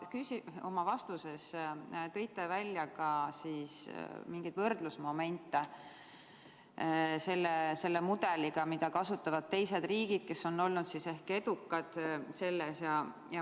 Te tõite oma vastuses välja ka võrdlusmomente nende mudelitega, mida kasutavad teised riigid, kes on olnud edukad.